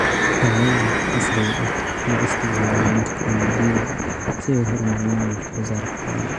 ralayda casriga ah waxaay isticmaalaan teknoolojiyada si ay uhormariyaan wax soo saarka xolaha.